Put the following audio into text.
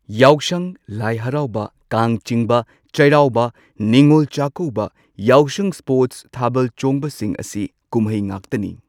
ꯌꯥꯎꯁꯪ, ꯂꯥꯏ ꯍꯔꯥꯎꯕ, ꯀꯥꯡ ꯆꯤꯡꯕ, ꯆꯩꯔꯥꯎꯕ, ꯅꯤꯡꯉꯣꯜ ꯆꯥꯛꯀꯧꯕ, ꯌꯥꯎꯁꯪ ꯁ꯭ꯄꯣꯔꯠꯁ ꯊꯥꯕꯜ ꯆꯣꯡꯕꯁꯤꯡ ꯑꯁꯤ ꯀꯨꯝꯍꯩ ꯉꯥꯛꯇꯅꯤ꯫